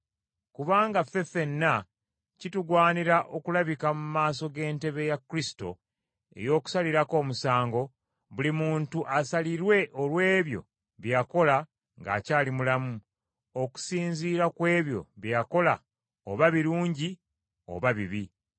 Kubanga ffe ffenna kitugwanira okulabika mu maaso g’entebe ya Kristo ey’okusalirako omusango, buli muntu asalirwe olw’ebyo bye yakola ng’akyali mulamu, okusinziira ku ebyo bye yakola oba birungi oba bibi.